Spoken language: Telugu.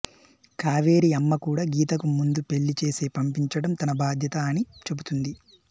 కావేరీ అమ్మ కూడా గీతకు ముందు పెళ్ళి చేసే పంపించడం తన బాధ్యత అని చెబుతుంది